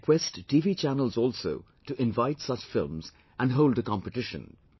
I request TV channels also to invite such films and hold a competition